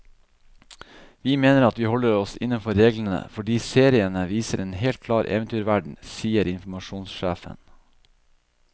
Vi mener at vi holder oss innenfor reglene, fordi seriene viser en helt klar eventyrverden, sier informasjonssjefen.